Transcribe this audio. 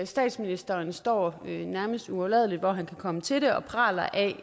statsministeren står nærmest uafladelig hvor han kan komme til det og praler af